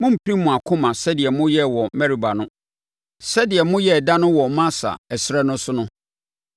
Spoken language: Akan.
mommpirim mo akoma sɛdeɛ moyɛɛ wɔ Meriba no, sɛdeɛ moyɛɛ da no wɔ Masa, ɛserɛ no so no,